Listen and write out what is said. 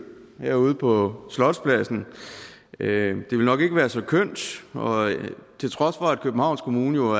herude på slotspladsen det ville nok ikke være så kønt til trods for at københavns kommune jo